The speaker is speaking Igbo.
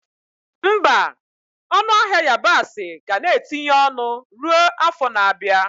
Mba, ọnụ ahịa yabasị ga na-etinye ọnụ ruo afọ na-abịa.